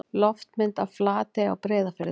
Loftmynd af Flatey á Breiðafirði.